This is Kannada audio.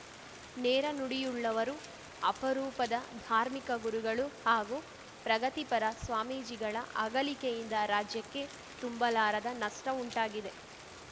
ನೇರ ನುಡಿಯುಳ್ಳವರು ಅಪರೂಪದ ಧಾರ್ಮಿಕ ಗುರುಗಳು ಹಾಗೂ ಪ್ರಗತಿಪರ ಸ್ವಾಮೀಜಿಗಳ ಅಗಲಿಕೆಯಿಂದ ರಾಜ್ಯಕ್ಕೆ ತುಂಬಲಾರದ ನಷ್ಟಉಂಟಾಗಿದೆ